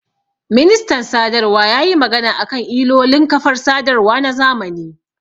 Ministan sadarwa yayi magana akan ilolin kafar sadarwa na zamani